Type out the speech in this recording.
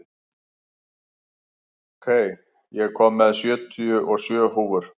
Kai, ég kom með sjötíu og sjö húfur!